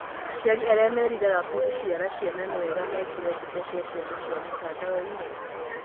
Aciarĩ arĩa meriraga gũciara ciana nĩwega mekĩre mbica cia ciana ciao mĩtandaoi-nĩ?